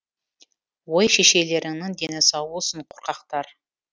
ой шешелеріңнің дені сау болсын қорқақтар